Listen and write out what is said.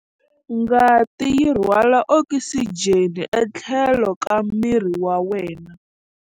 Ngati yi rhwala okisijeni etlhelo ka miri wa wena.